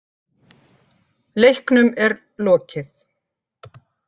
Leiknum er lokið